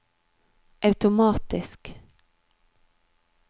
automatisk